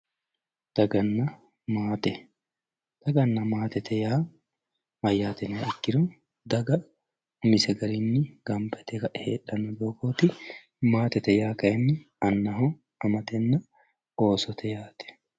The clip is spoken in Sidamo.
daganna maate daganna maate yaa mayyate yiniha ikkiro daga umise garinni gamba yite heedhanno doogooti maatete yaa kayiinni anna amatenna oosote yaate.